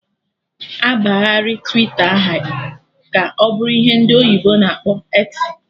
Abagharị Twita aha ka ọ bụrụ ihe ndị oyibo na akpọ 'eksi'